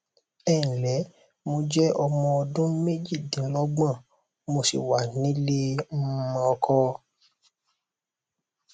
ẹǹlẹ mo jẹ ọmọ ọdún méjìdínlọgbọn mo sì wà nílé um ọkọ